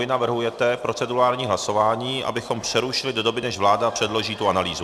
Vy navrhujete procedurální hlasování, abychom přerušili do doby, než vláda předloží tu analýzu.